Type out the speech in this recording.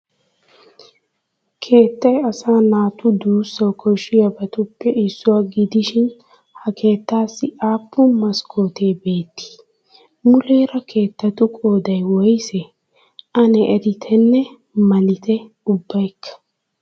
Keettay asaa naatu duussawu koshshiyabatuppe issuwa gidishin ha keettaassi aappun maskkootee beettii? Muleera keettatu qooday woysee? Ane erittenne malitte ubbaykka.